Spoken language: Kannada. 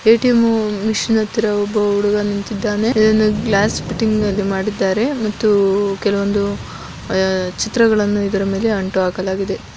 ಎಟಿಎಮ್ ಮಷಿನ್ ಹತ್ರ ಒಬ್ಬ ಹುಡುಗ ನಿಂತಿದ್ದಾನೆ ಗ್ಲಾಸ್ ಫಿಟ್ಟಿಂಗ್ ಮಾಡಲಾಗಿದೆ ಮತ್ತೆ ಅದರ ಮೇಲೆ ಕೆಲವು ಚಿತ್ರಗಳನ್ನು ಹಾಕಲಾಗಿದೆ.